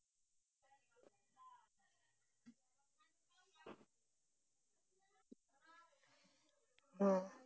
আহ